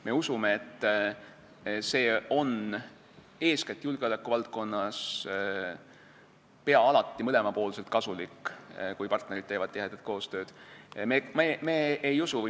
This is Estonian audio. Me usume, et eeskätt julgeolekuvaldkonnas on peaaegu alati mõlemapoolselt kasulik, kui partnerid teevad tihedat koostööd.